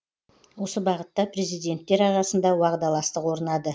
осы бағытта президенттер арасында уағдаластық орнады